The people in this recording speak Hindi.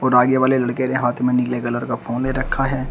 आगे वाले लड़के ने हाथ में नीले कलर का फोन ले रखा है।